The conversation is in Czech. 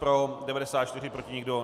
Pro 94, proti nikdo.